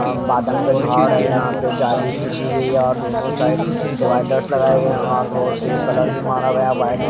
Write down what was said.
अ बादाम का झाड़ है यहाँ पे जाली खींची गई है और दोनों साइड डिवाइडर्स लगाए गए हैं और रोड पे कलर भी मार रहा है व्हाईट ।